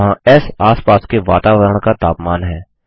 जहाँ एस आस पास के वातावरण का तापमान है